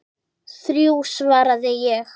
Þrjú, svaraði ég.